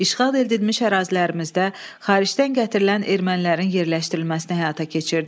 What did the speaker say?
İşğal edilmiş ərazilərimizdə xaricdən gətirilən ermənilərin yerləşdirilməsini həyata keçirdi.